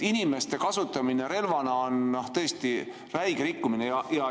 Inimeste kasutamine relvana on tõesti räige rikkumine.